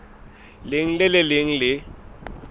leng le le leng le